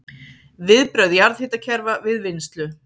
Viðbrögð jarðhitakerfa við vinnslu